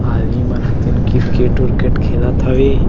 आदमी मन ह तेन क्रिकेट उरकेट खेलत हवे।